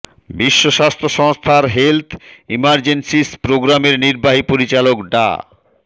বিশ্ব স্বাস্থ্য সংস্থার হেলথ ইমার্জেন্সিস প্রোগ্রামের নির্বাহী পরিচালক ডা